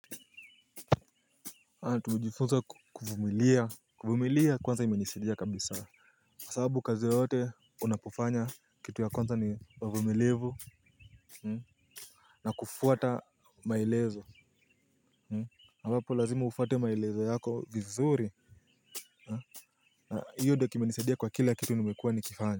Tumejifunza kuvumilia kwanza imenisidia kabisa kwasabu kazi yote unapofanya kitu ya kwanza ni uvumilivu. Na kufuata maelezo ambapo lazima ufate maelezo yako vizuri. Na hiyo ndo kimenisidia kwa kila kitu nimekua nikifanya.